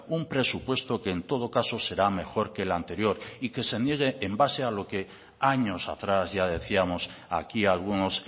un presupuesto que en todo caso será mejor que el anterior y que se niegue en base a lo que años atrás ya decíamos aquí algunos